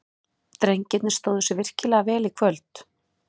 Drengirnir stóðu sig virkilega vel í kvöld.